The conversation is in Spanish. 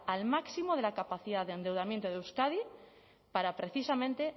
al máximo de la capacidad de endeudamiento de euskadi para precisamente